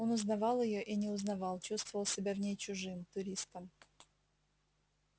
он узнавал её и не узнавал чувствовал себя в ней чужим туристом